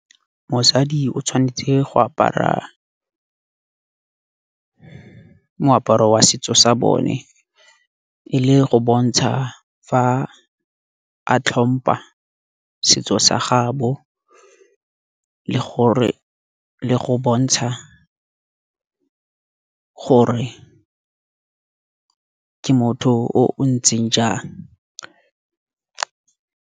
Mosadi o tshwanetse go apara moaparo wa setso sa bone. E le go bontsha fa a tlhompa setso sa gaabo, le gore le go bontsha gore ke motho o o ntseng jang.